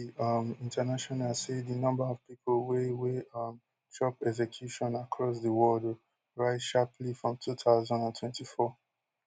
um international say di number of pipo wey wey um chop execution across di world rise sharply for two thousand and twenty-four